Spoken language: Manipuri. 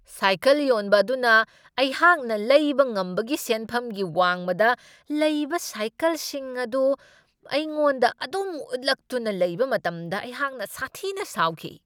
ꯁꯥꯏꯀꯜ ꯌꯣꯟꯕ ꯑꯗꯨꯅ ꯑꯩꯍꯥꯛꯅ ꯂꯩꯕ ꯉꯝꯕꯒꯤ ꯁꯦꯟꯐꯝꯒꯤ ꯋꯥꯡꯃꯗ ꯂꯩꯕ ꯁꯥꯏꯀꯜꯁꯤꯡ ꯑꯗꯨ ꯑꯩꯉꯣꯟꯗ ꯑꯗꯨꯝ ꯎꯠꯂꯛꯇꯨꯅ ꯂꯩꯕ ꯃꯇꯝꯗ ꯑꯩꯍꯥꯛꯅ ꯁꯥꯊꯤꯅ ꯁꯥꯎꯈꯤ ꯫